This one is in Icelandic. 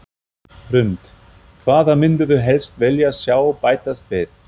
Hrund: Hvað myndirðu helst vilja sjá bætast við?